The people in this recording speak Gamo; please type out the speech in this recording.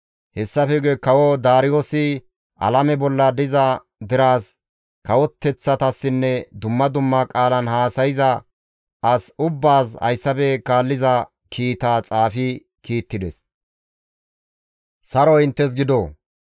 Hessafe guye kawo Daariyoosi alame bolla diza deraas, kawoteththatassinne dumma dumma qaalan haasayza as ubbaas hayssafe kaalliza kiitaa xaafi kiittides; «Saroy inttes gido!